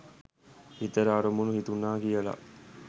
හිතට අරමුණු හිතුණා කියලා